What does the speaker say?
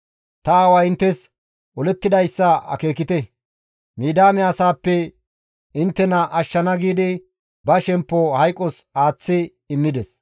Ta aaway inttes olettidayssa akeekite; Midiyaame asaappe inttena ashshana giidi ba shemppo hayqos aaththi immides.